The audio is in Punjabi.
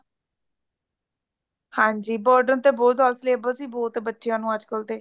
ਹਾਂਜੀ burden ਤੇ ਬਹੁਥ ਜ਼ਯਾਦਾ ਹੈ | syllabus ਵੀ ਬਹੁਤ ਬੱਚਿਆਂ ਨੂੰ ਅੱਜ ਕੱਲ ਤੇ